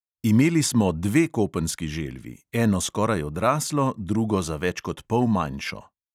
Imeli smo dve kopenski želvi, eno skoraj odraslo, drugo za več kot pol manjšo.